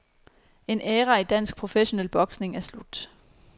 En æra i dansk professionel boksning er slut.